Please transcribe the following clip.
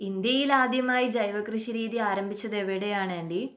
ഇന്ത്യയിലാദ്യമായി ജൈവകൃഷി രീതി ആരംഭിച്ചത് എവിടെയാണ് ആൻ്റി?